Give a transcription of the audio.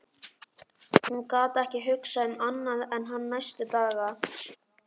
Hún gat ekki hugsað um annað en hann næstu daga.